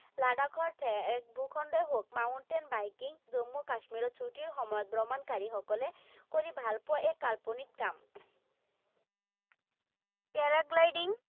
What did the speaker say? লাডাখৰ ঠেক ভূ খণ্ডয়েই হওঁক, mountain biking জম্মু কাশ্মীৰৰ ছুটিৰ সময়ত ভ্ৰমণকাৰীসকলে কৰি ভালপোৱা এক কাল্পনিক কাম। Paragliding